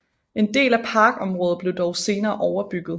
En del af parkområdet blev dog senere overbygget